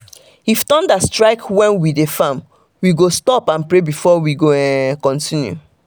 if thunder strike when we dey farm we go stop and pray before we go um continue.